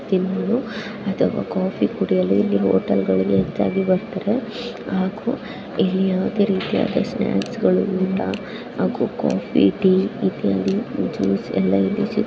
Coffee ಕುಡಿಯಲು ಈ hotel ಹೆಚ್ಚಾಗಿ ಬರುತ್ತಾರೆ ಹಾಗೂ ಇಲ್ಲಿ ಯಾವುದೇ ರೀತಿಯ ಸ್ನಾಕ್ ಗಳು ಕಾಫಿ ಟೀ ಜ್ಯೂಸ್ ಎಲ್ಲಾ ಸಿಗುತ್ತದೆ.